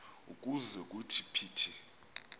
ukuze kuthi phithi